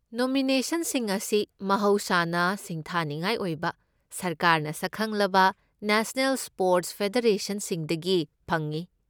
ꯅꯣꯃꯤꯅꯦꯁꯟꯁꯤꯡ ꯑꯁꯤ ꯃꯍꯧꯁꯥꯅ ꯁꯤꯡꯊꯥꯅꯤꯡꯉꯥꯏ ꯑꯣꯏꯕ ꯁꯔꯀꯥꯔꯅ ꯁꯛꯈꯪꯂꯕ ꯅꯦꯁꯅꯦꯜ ꯁ꯭ꯄꯣꯔꯠꯁ ꯐꯦꯗꯦꯔꯦꯁꯟꯁꯤꯡꯗꯒꯤ ꯐꯪꯏ꯫